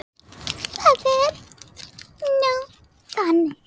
Það er nú ekki þannig.